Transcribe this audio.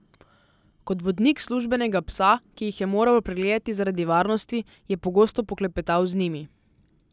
Kot vodnik službenega psa, ki jih je moral pregledati zaradi varnosti, je pogosto poklepetal z njimi.